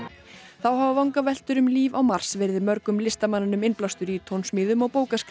þá hafa vangaveltur um líf á Mars hafa verið mörgum listamanninum innblástur í tónsmíðum og